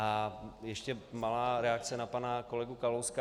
A ještě malá reakce na pana kolegu Kalouska.